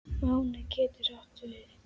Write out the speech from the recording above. Máni getur átt við